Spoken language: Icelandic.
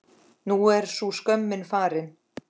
Nú er sú skömm farin.